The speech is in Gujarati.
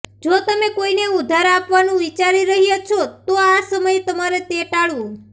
જો તમે કોઈને ઉધાર આપવાનું વિચારી રહ્યા છો તો આ સમયે તમારે તે ટાળવું